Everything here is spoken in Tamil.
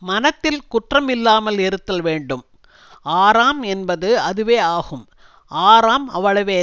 மனத்தில் குற்றம் இல்லாமல் இருத்தல் வேண்டும் ஆறாம் என்பது அதுவே ஆகும் ஆறாம் அவ்வளவே